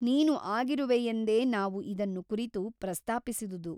ನೀನು ಆಗಿರುವೆಯೆಂದೇ ನಾವು ಇದನ್ನು ಕುರಿತು ಪ್ರಸ್ತಾಪಿಸಿದುದು.